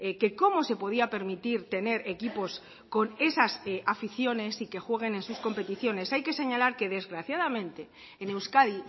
que cómo se podía permitir tener equipos con esas aficiones y que jueguen en sus competiciones hay que señalar que desgraciadamente en euskadi